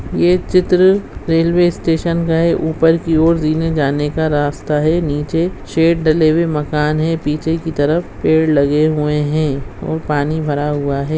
ये चित्र railway station का है ऊपर की ओर जीने जाने का रास्ता है नीचे शेड डले हुए मकान है पीछे की तरफ पेड़ लगे हुए है और पानी भरा हुआ है।